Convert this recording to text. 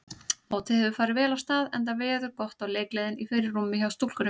Mótið hefur farið vel af stað enda veður gott og leikgleðin í fyrirrúmi hjá stúlkunum.